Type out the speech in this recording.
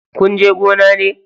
Kunje gona ne?